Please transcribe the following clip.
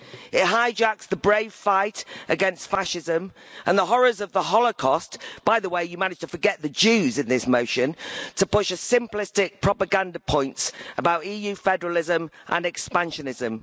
It hijacks the brave fight against fascism and the horrors of the Holocaust by the way, you managed to forget the Jews in this motion to push simplistic propaganda points about EU federalism and expansionism.